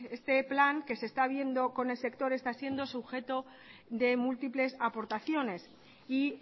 este plan que se está viendo con el sector está siendo sujeto de múltiples aportaciones y